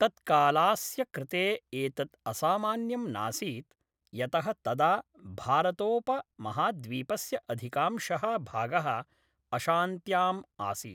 तत्कालास्य कृते एतत् असामान्यं नासीत् यतः तदा भारतोपमहाद्वीपस्य अधिकांशः भागः अशान्त्याम् आसीत्।